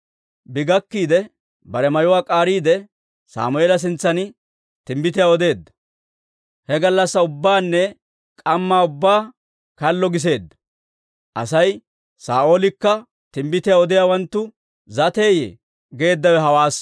Bi gakkiide, bare mayuwaa k'aariide, Sammeela sintsan timbbitiyaa odeedda; he gallassaa ubbaanne k'ammaa ubbaa kallo giseedda. Asay, «Saa'oolekka timbbitiyaa odiyaawanttu zateeyye?» guussay hawaassa.